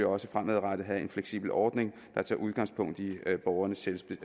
også fremadrettet have en fleksibel ordning der tager udgangspunkt i borgernes